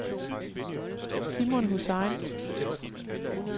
Simon Hussain